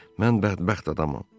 Mən bədbəxt adamam.